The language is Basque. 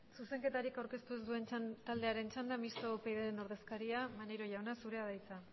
zuzenketarik aurkeztu ez duen taldearen txanda mistoa upyd taldearen ordezkaria maneiro jauna zurea da hitza